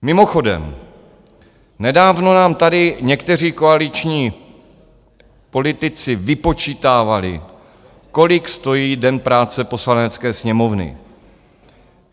Mimochodem, nedávno nám tady někteří koaliční politici vypočítávali, kolik stojí den práce Poslanecké sněmovny.